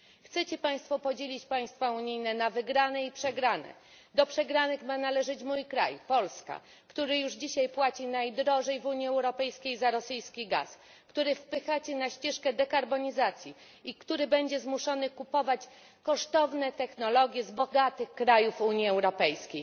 Chcą Państwo podzielić państwa unijne na wygrane i przegrane, a do przegranych ma należeć mój kraj, Polska, który już dzisiaj płaci najwięcej w Unii Europejskiej za rosyjski gaz kraj, który wpychacie na ścieżkę dekarbonizacji i który będzie zmuszony kupować kosztowne technologie z bogatych krajów Unii Europejskiej.